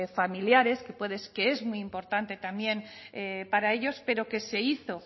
familiares que es muy importante también para ellos pero que se hizo